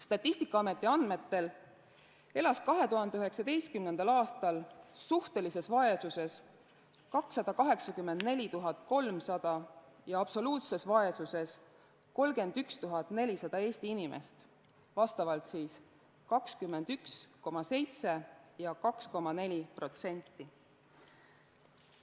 Statistikaameti andmetel elas 2019. aastal suhtelises vaesuses 284 300 ja absoluutses vaesuses 31 400 Eesti inimest, vastavalt 21,7% ja 2,4%.